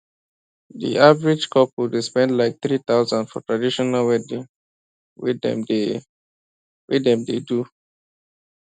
di average couple dey spend like 3000 for traditional wedding wey dem dey wey dem dey do